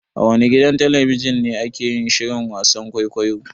A wane gidan talabijin ne ake yin shirin wasan kwaikwayo?